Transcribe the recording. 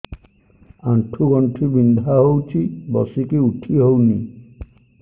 ଆଣ୍ଠୁ ଗଣ୍ଠି ବିନ୍ଧା ହଉଚି ବସିକି ଉଠି ହଉନି